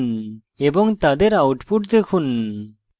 এবং তাদের outputs দেখুন